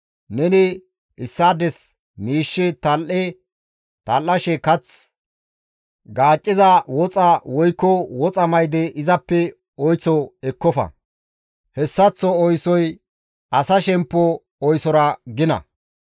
Neni issaades miishshe tal7e tal7ashe kath gaacciza woxa woykko woxa mayde izappe oyththo ekkofa. Hessaththo oosoy asa shemppo oysora gina.